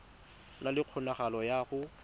na le kgonagalo ya go